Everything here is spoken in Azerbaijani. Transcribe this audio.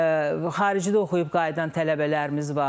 Xaricdə oxuyub qayıdan tələbələrimiz var.